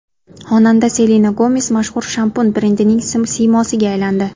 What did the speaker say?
Xonanda Selena Gomes mashhur shampun brendining siymosiga aylandi.